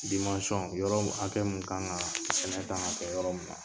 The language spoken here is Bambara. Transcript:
yɔrɔ mun hakɛ mun kan ŋaa sɛnɛ kan ŋa kɛ yɔrɔ min na.